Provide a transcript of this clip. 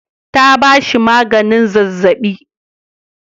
Ta ba shi maganin zazzaɓi.